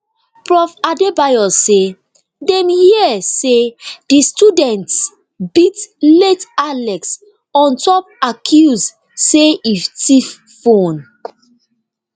prof adebayo say dem hear say di students beat late alex on top accuse say e tiff phone